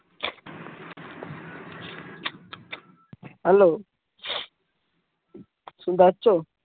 Hello শুনতে পাচ্ছ